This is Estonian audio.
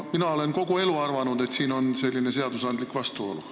Mina olen kogu elu arvanud, et siin on selline seadusandlik vastuolu.